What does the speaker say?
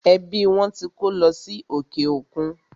Ẹbí wọn tí kó lọ sí òkè òkun.